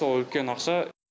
сол үлкен ақша